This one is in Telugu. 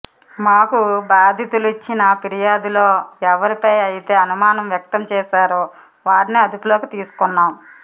మాకు బాధితులు ఇచ్చిన ఫిర్యాదులో ఎవరిపైఅయితే అనుమానం వ్యక్తం చేశారో వారినే అదుపులోకి తీసుకున్నాం